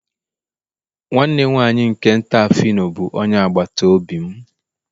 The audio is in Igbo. nwanne nwanyị nke nta phyno bụ onye agbata obi m.